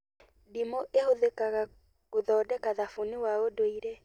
Ndimũ ĩhũthĩkaga gũthondeka thabuni wa ũndũire